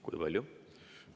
Kui palju?